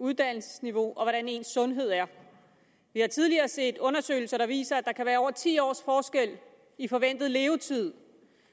uddannelsesniveau og hvordan ens sundhed er vi har tidligere set undersøgelser der viser at der kan være over ti års forskel i forventet levetid